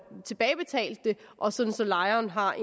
tilbagebetalt det og så så lejerne har